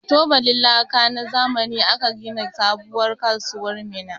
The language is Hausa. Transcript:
Da tubalin laka na zamani aka gina sabuwar kasuwar Minna.